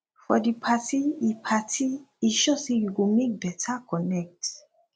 for di party e party e sure say yu go mek beta connect